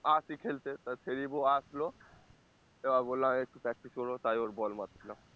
আসি খেলতে তা সেরিব ও আসলো এবার আমি বললাম একটু practice করবো, তাই ওর ball মারছিলাম